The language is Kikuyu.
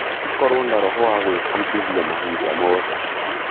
Tũkorwo na roho wa gwĩbundithia mahinda mothe.